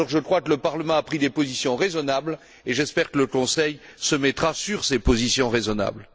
Je crois que le Parlement a pris des positions raisonnables et j'espère que le Conseil s'alignera sur ces positions raisonnables.